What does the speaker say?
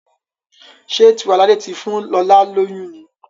Ṣe Tiwalade tí fún lọla lóyún ní?